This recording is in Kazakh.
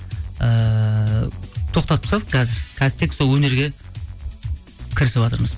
ыыы тоқтатып тастадық қазір қазір тек сол өнерге кірісіватырмыз